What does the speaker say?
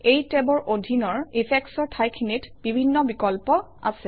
এই টেবৰ অধীনৰ Effects অৰ ঠাইখিনিত বিভিন্ন বিকল্প আছে